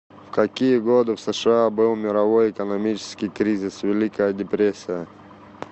в какие годы в сша был мировой экономический кризис великая депрессия